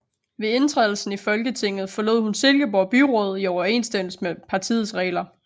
Ved indtrædelsen i Folketinget forlod hun Silkeborg Byråd i overensstemmelse med partiets regler